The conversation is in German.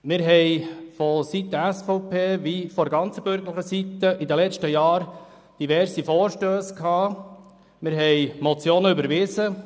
Die SVP und auch die ganze bürgerliche Seite haben in den vergangenen Jahren verschiedene Vorstösse eingereicht, und es wurden entsprechende Motionen überwiesen.